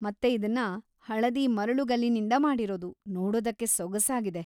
ಮತ್ತೆ ಇದನ್ನ ಹಳದಿ ಮರಳುಗಲ್ಲಿನಿಂದ ಮಾಡಿರೋದು; ನೋಡೋದಕ್ಕೆ ಸೊಗಸಾಗಿದೆ.